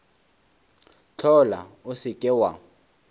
hlola o se ke wa